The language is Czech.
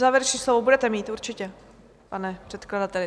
Závěrečné slovo budete mít určitě, pane předkladateli.